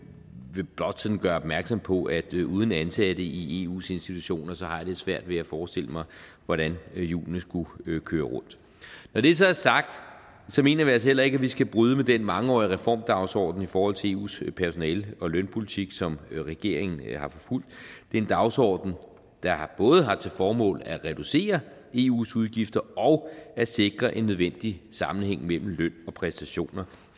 vil blot sådan gøre opmærksom på at uden ansatte i eus institutioner har jeg lidt svært ved at forestille mig hvordan hjulene skulle køre rundt når det så er sagt mener vi altså heller ikke at vi skal bryde med den mangeårige reformdagsorden i forhold til eus personale og lønpolitik som regeringen har forfulgt det er en dagsorden der både har til formål at reducere eus udgifter og at sikre en nødvendig sammenhæng mellem løn og præstationer